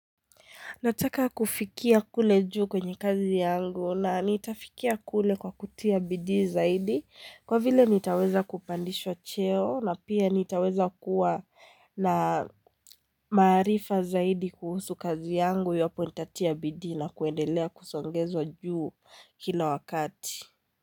Nataka kufikia kule juu kwenye kazi yangu na nitafikia kule kwa kutia bidii zaidi kwa vile nitaweza kupandishwa cheo na pia nitaweza kuwa na maarifa zaidi kuhusu kazi yangu iwapo nitatia bidii na kuendelea kusongezwa juu, kila wakati.